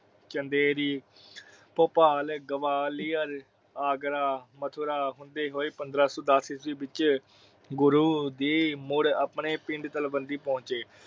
ਚੰਦੇਰੀ, ਭੋਪਾਲ, ਗਵਾਲੀਆਰ, ਆਗਰਾ, ਮਥੁਰਾ ਹੁੰਦੇ ਹੋਏ ਪੰਦ੍ਹਰਾ ਸੋ ਦਸ ਈਸਵੀ ਵਿੱਚ ਗੁਰੂ ਦੀ ਮੁੜ ਆਪਣੇ ਪਿੰਡ ਤਲਵੰਡੀ ਪਹੁੰਚੇ।